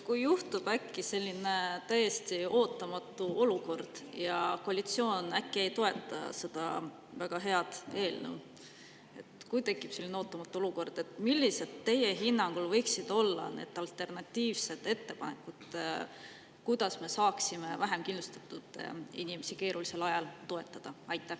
Kui juhtub selline täiesti ootamatu olukord ja koalitsioon äkki ei toeta seda väga head eelnõu – kui tekib selline ootamatu olukord –, millised võiksid teie hinnangul olla alternatiivsed ettepanekud, kuidas me saaksime vähem kindlustatud inimesi keerulisel ajal toetada?